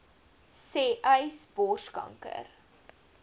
sê uys borskanker